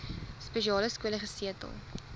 spesiale skole gesetel